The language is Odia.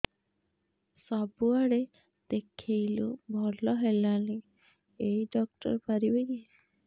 ସବୁଆଡେ ଦେଖେଇଲୁ ଭଲ ହେଲାନି ଏଇ ଡ଼ାକ୍ତର ପାରିବେ କି